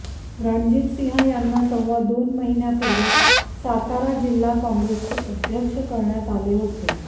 रणजित सिंह यांना सव्वा दोन महिन्यापूर्वी सातारा जिल्हा काँग्रेसचे अध्यक्ष करण्यात आले होते